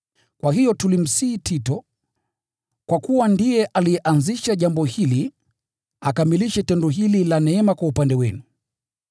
Kwa hiyo tulimsihi Tito, kwa kuwa ndiye alianzisha jambo hili, akamilishe tendo hili la neema kwa upande wenu.